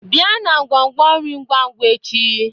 Bịa na nkwonkwo nri ngwa ngwa echi